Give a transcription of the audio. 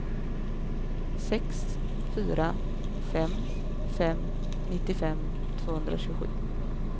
sex fyra fem fem nittiofem tvåhundratjugosju